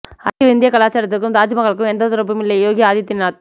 அரசியல் இந்திய கலாச்சாரத்திற்கும் தாஜ்மஹாலுக்கு எந்த தொடர்பும் இல்லை யோகி ஆதித்யநாத்